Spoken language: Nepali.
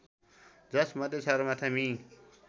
जसमध्ये सगरमाथा मि